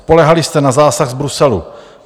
Spoléhali jste na zásah z Bruselu.